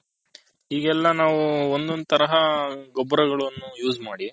ಈಗೆಲ್ಲ ನಾವು ಒಂದ್ ಒಂದ್ ತರ ಗೊಬ್ಬರಗಳನ್ನು use ಮಾಡಿ.